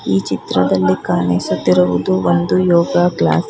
ಈ ಚಿತ್ರದಲ್ಲಿ ಕಾಣಿಸುತ್ತಿರುವುದು ಒಂದು ಯೋಗಾ ಕ್ಲಾಸ್ .